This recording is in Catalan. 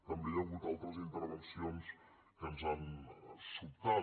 també hi ha hagut altres intervencions que ens han sobtat